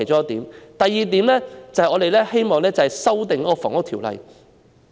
第二，我們希望修訂《房屋條例》。